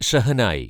shehnai